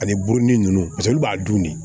Ani boronin ninnu paseke olu b'a dun de